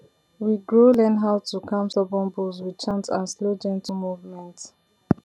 we grow learn how to calm stubborn bulls with chant and slow gentle movement